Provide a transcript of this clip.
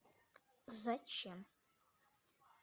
зачем